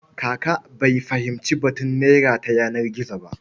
Kaka bai fahimci batun naira ta yanar gizo ba.